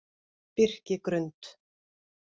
Birkigrund